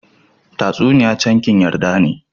Tatasuniy camkin yarda ne.